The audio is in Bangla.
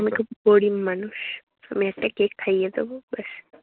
আমি খুব গরিব মানুষ। আমি একটা কেক খাইয়ে দেব, ব্যাস।